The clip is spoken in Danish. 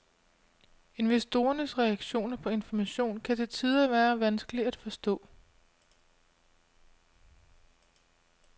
Investorernes reaktioner på information kan til tider være vanskelige at forstå.